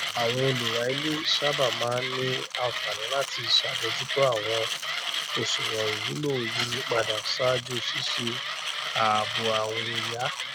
àwọn olùrà ilé sábà máa ní àǹfààní láti ṣàbójútó àwọn oṣùwòn ìwúlò yíyípadà ṣáájú ṣíṣe ààbò àwìn yá